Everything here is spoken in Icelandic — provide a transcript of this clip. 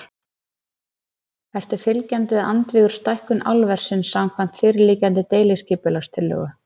Ertu fylgjandi eða andvígur stækkun álversins samkvæmt fyrirliggjandi deiliskipulagstillögu?